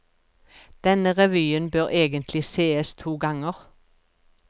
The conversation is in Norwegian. Denne revyen bør egentlig sees to ganger.